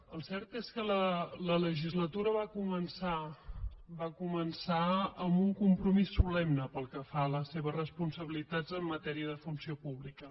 el cert és que la legislatura va començar amb un compromís solemne pel que fa a les seves responsabilitats en matèria de funció pública